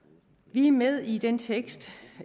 vi er med i den tekst